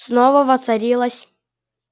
снова воцарилось